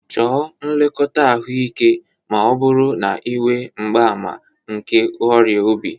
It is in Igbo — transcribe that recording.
Chọọ nlekọta ahụike ma ọ bụrụ na ị nwe mgbaàmà nke ọrịa obi.